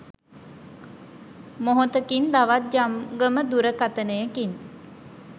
මොහොතකින් තවත් ජංගම දුරකථනයකින්